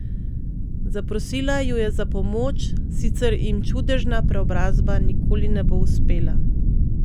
Zaprosila ju je za pomoč, sicer jim čudežna preobrazba nikoli ne bo uspela.